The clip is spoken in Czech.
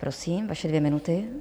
Prosím, vaše dvě minuty.